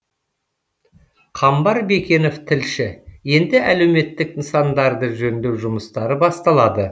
қамбар бекенов тілші енді әлеуметтік нысандарды жөндеу жұмыстары басталады